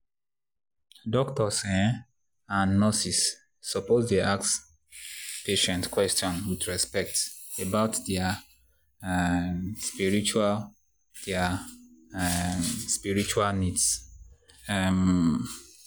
doctors um and nurses suppose dey ask patients question with respect about their um spiritual their um spiritual needs. um